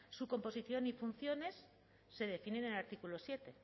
su composición y funciones se definen en el artículo siete